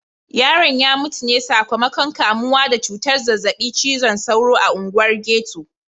Yaron ya mutu ne sakamakon kamuwa da cutar zazzabin cizon sauro a unguwar ghetto.